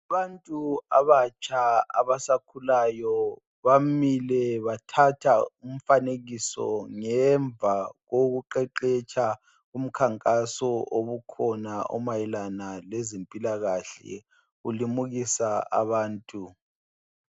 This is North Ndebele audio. Abantu abatsha abasakhulayo bamile bathatha umfanekiso ngemva kokuqeqetsha umkhankaso obukhona obumayelana lezempilakahle ulimuka abantu.